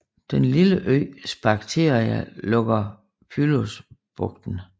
Den lille ø Sphacteria lukker Pylos bugten